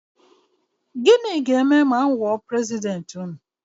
Gịnị ga-eme ma m wụọ prezidenti ụnụ?